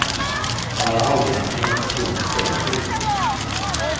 Han hade aldrig lagt märke till hennes kläder förut.